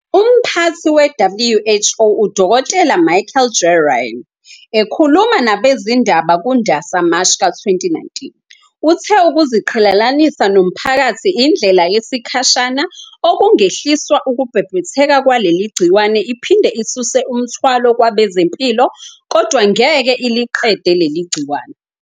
Umphathi we-WHO uDkt Michael J Ryan, ekhuluma nabezindaba kuNdasa, Mashi, ka-2019, uthe ukuziqhelelanisa nomphakathi indlela yesikhashana okungehliswa ukubhebhetheka kwaleli gciwane iphinde isuse umthwalo kwabezempilo, kodwa ngeke iliqede leli gciwane.